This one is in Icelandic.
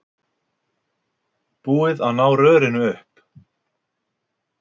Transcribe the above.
Búið að ná rörinu upp